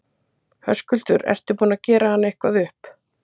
Höskuldur: Ertu búinn að gera hann eitthvað upp?